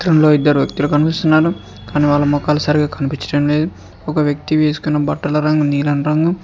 లో ఇద్దరు కనిపిస్తున్నారు కాని వాళ్ళ మోకాలు సరిగా కనిపించడం లేదు ఒక వ్యక్తి వేసుకుని బట్టల రంగు నీలం రంగు.